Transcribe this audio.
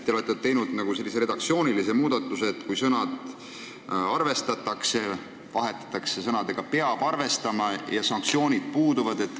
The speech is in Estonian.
Te olete teinud sellise redaktsioonilise muudatuse, et sõna "arvestatakse" on asendatud sõnadega "peab arvestama", kuid sanktsioonid puuduvad.